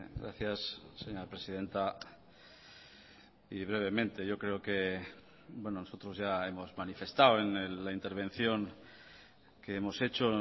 gracias señora presidenta y brevemente yo creo que nosotros ya hemos manifestado en la intervención que hemos hecho